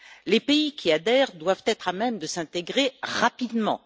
Les pays qui adhèrent doivent être à même de s'intégrer rapidement.